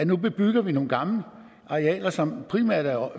nu bebygger nogle gamle arealer som primært er